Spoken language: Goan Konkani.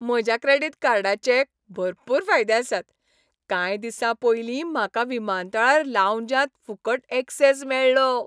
म्हज्या क्रॅडिट कार्डाचें भरपूर फायदे आसात. कांय दिसां पयलीं म्हाका विमानतळार लावंजांत फुकट ऍक्सॅस मेळ्ळो.